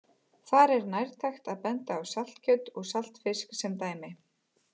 Þar er nærtækt að benda á saltkjöt og saltfisk sem dæmi.